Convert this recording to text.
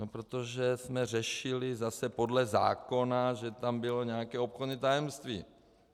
No protože jsme řešili zase podle zákona, že tam bylo nějaké obchodní tajemství.